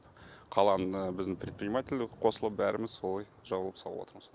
қаланың біздің предприниматель қосылып бәріміз солай жабылып салып отырмыз